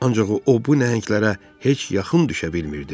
Ancaq o bu nəhənglərə heç yaxın düşə bilmirdi.